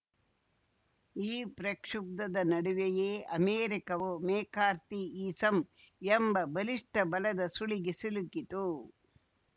ಈ ಪ್ರಕ್ಷುಬ್ಧದ ನಡುವೆಯೇ ಅಮೆರಿಕವು ಮೆಕಾರ್ಥಿಯಿಸಂ ಎಂಬ ಬಲಿಷ್ಠ ಬಲದ ಸುಳಿಗೆ ಸಿಲುಕಿತು